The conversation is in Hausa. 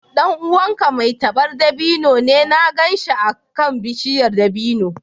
Ɗan uwanka mai tabar dabino ne? Na gan shi akan bishiyar dabino.